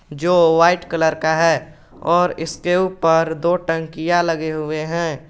जो white colour का है और इसके ऊपर दो टंकिया लगे हुए हैं।